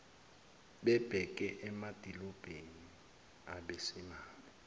bebheke emadilobheni abesimame